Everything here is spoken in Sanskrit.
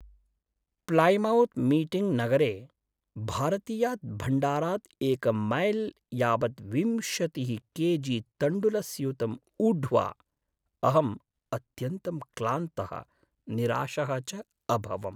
प्लैमौत् मीटिङ्ग् नगरे भारतीयात् भण्डारात् एकं मैल् यावत् विंशतिः के जि तण्डुलस्यूतं ऊढ्वा अहम् अत्यन्तं क्लान्तः, निराशः च अभवम्।